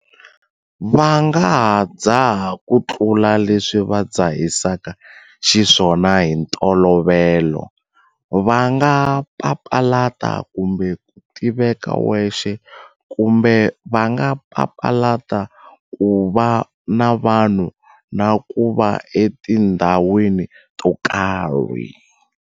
Va nga ha dzaha kutlula leswi va dzahisaka xiswona hi ntolovelo, va nga papalata kumbe ku tiveka wexe kumbe va nga papalata ku va na vanhu na ku va etindhawini to karhi.